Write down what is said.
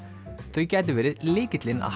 þau gætu verið lykillinn að